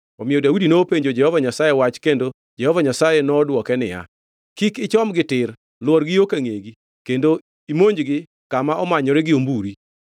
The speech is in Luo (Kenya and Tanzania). omiyo Daudi nopenjo Jehova Nyasaye wach kendo Jehova Nyasaye nodwoke niya, “Kik ichomgi tir lwor gi yo ka ngʼegi kendo imonjgi kama omanyore gi omburi.